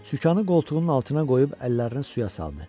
Sükanı qoltuğunun altına qoyub əllərini suya saldı.